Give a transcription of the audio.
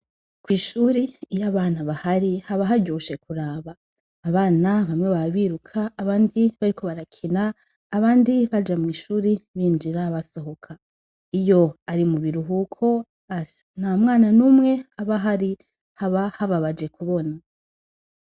ku ishuri iyo abana bahari haba haryoshe kuraba abana bamwe baba biruka abandi bariko barakina abandi baja mw'ishuri binjira basohoka iyo ari mubiruhuko nya mwana numwe aba ahari haba hababaje ku bona.